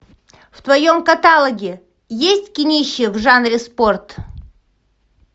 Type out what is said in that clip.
в твоем каталоге есть кинище в жанре спорт